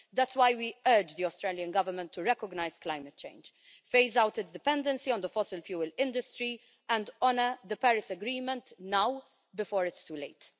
That's why we urge the Australian Government to recognise climate change, phase out its dependency on the fossil fuel industry, and honour the Paris Agreement now, before it's too late.